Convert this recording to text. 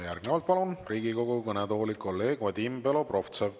Ja järgnevalt palun Riigikogu kõnetooli kolleeg Vadim Belobrovtsevi.